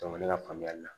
ne ka faamuyali la